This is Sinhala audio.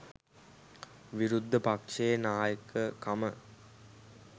විරුද්ධ පක්ෂයේ නායකකම